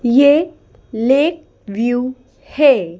ये lake view है।